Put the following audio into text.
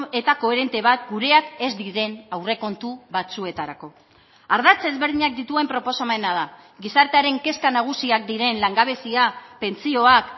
eta koherente bat gureak ez diren aurrekontu batzuetarako ardatz ezberdinak dituen proposamena da gizartearen kezka nagusiak diren langabezia pentsioak